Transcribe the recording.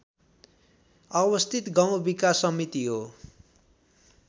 अवस्थित गाउँ विकास समिति हो